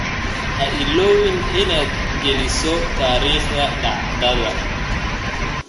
Ha iloobin inaad geliso taariikhda dhacdada.